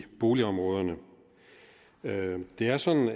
boligområderne det er sådan